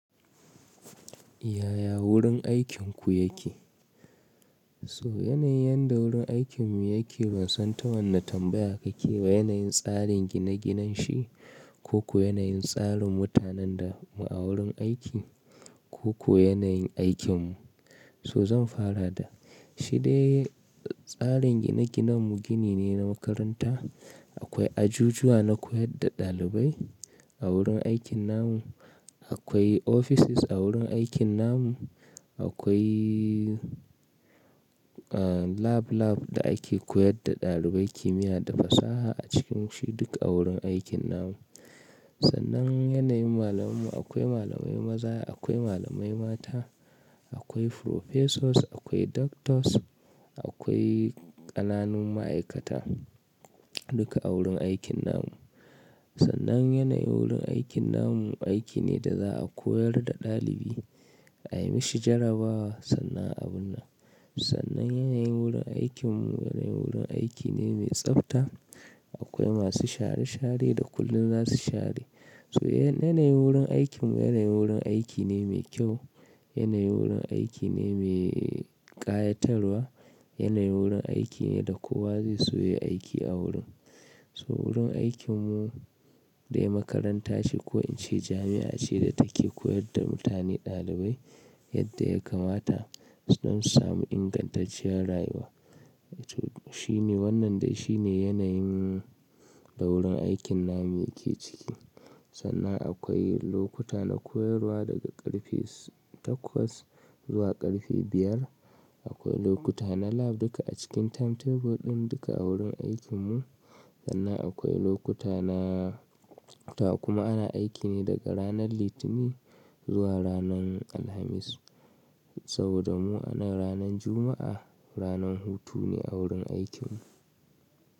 Yaya wurin aikin ku yake? So yanayin da wurin aikin mu yake ban san ta wane tambaya kake wa, yanayin tsarin gine-ginen shi, ko ko yanayin tsarin mutanen da mu a wurin aiki, koko yanayin aikin mu. So zan fara da shi dai tsarin gine-ginen mu gini ne na makaranta. Akwai ajujuwa na koyar da ɗalibai a wurin aikin namu. Akwai offices a wurin aikin namu. Akwai, eh, lab lab da ake koyar da ɗalibai kimiyya da fasaha a cikin shi duk a wurin aikin namu. Sannan yanayin malamai mu akwai malamai maza, akwai malamai mata, akwai professors, akwai doctors, akwai ƙananun ma'aikata duka a wurin aikin namu. Sannan yanayi wurin aikin namu aiki ne da za a koyar da ɗalibi a yi mashi jarabawa sannan abinnan. Sannan yanayi wurin aikin mu yanayi wurin aiki ne mai tsafta. Akwai masu share share da kullum za su share. So yanayi wurin aikin mu yanayi wurin aiki ne mai kyau. Yanayi wurin aiki ne mai ƙayatarwa. Yanayi wurin aiki ne da kowa zai so ya yi aiki a wurin. So wurin aikin mu dai makaranta ce ko in ce jami'a ce da take koyar da mutane ɗalibai yadda ya kamata don su samu ingantacciyar rayuwa. Shi ne wannan dai shi ne yanayin da wurin aikin namu yake ciki. Sannan akwai lokuta na koyarwa daga ƙarfe takwas zuwa ƙarfe biyar. Akwai lokuta na lab duka a cikin timetable ɗin duka a wurin aikin mu. Sannan akwai lokuta na, ta kuma ana aiki ne daga ranar Litinin zuwa ranan Alhamis. Saboda mu a nan ranan Juma'a ranan hutu ne a wurin aikin mu.